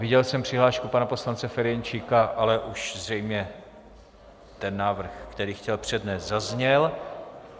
Viděl jsem přihlášku pana poslance Ferjenčíka, ale už zřejmě ten návrh, který chtěl přednést, zazněl.